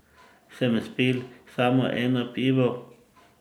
Sem spil samo eno pivo?